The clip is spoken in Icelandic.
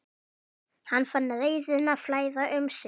Hann fann reiðina flæða um sig.